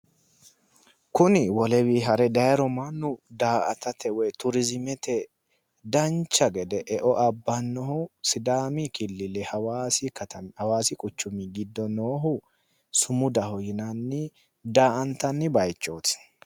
Kuni wolewii hare dayiro mannu daa"atate woyi turiizimete dancha gede eo abbannohu sidaamu killile hawaasi katami hawaasi quchumi giddo sumadaho yinanni daa"antanni bayichooti.